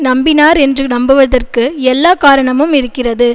நம்பினார் என்று நம்புவதற்கு எல்லா காரணமும் இருக்கிறது